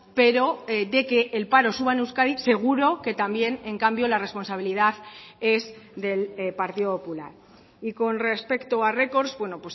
pero de que el paro suba en euskadi seguro que también en cambio la responsabilidad es del partido popular y con respecto a records bueno